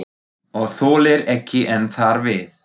Og þolir ekki enn þar við.